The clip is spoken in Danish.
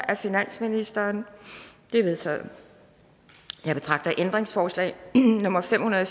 af finansministeren de er vedtaget jeg betragter ændringsforslag nummer fem hundrede og